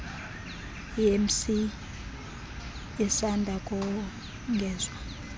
emc isanda kongezwa